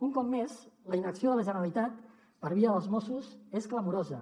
un cop més la inacció de la generalitat per via dels mossos és clamorosa